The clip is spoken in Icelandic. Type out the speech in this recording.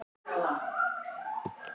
Ég er ekki í stuði.